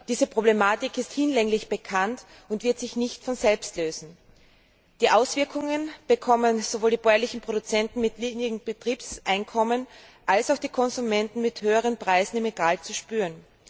Diese Problematik ist hinlänglich bekannt und wird sich nicht von selbst lösen. Die Auswirkungen bekommen sowohl die bäuerlichen Produzenten mit niedrigen Betriebseinkommen als auch die Konsumenten mit höheren Preisen im Regal zu spüren.